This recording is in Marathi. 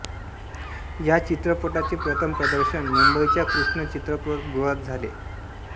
या चित्रपटाचे प्रथम प्रदर्शन मुंबईच्या कृष्ण चित्रपटगृहात झाले